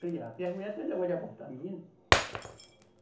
Criar. Porque as mulheres tem o negócio de abortar menino.